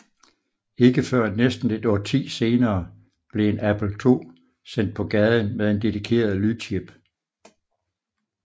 Ikke før næsten et årti senere blev en Apple II sendt på gaden med en dedikeret lydchip